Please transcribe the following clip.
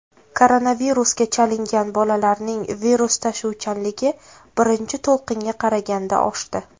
Koronavirusga chalingan bolalarning virus tashuvchanligi birinchi to‘lqinga qaraganda oshdi.